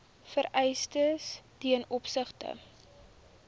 vereistes ten opsigte